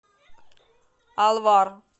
алвар